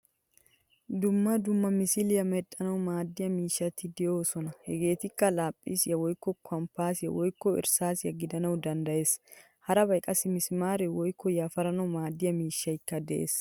Dumma dumma misiliyaa medhdhanawu maadiyaa miishshati deosona. Hegettikka laphphisiyaa woykko compasiya woykko irsaasiyaa gidanawu danddayees. Harabay qassi mesimere woykko yafaranawu maadiyaa miishshaykka de'ees.